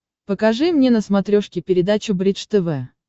покажи мне на смотрешке передачу бридж тв